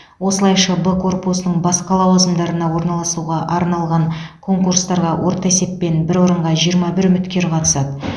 осылайша б корпусының басқа лауазымдарына орналасуға арналған конкурстарға орта есеппен бір орынға жиырма бір үміткер қатысады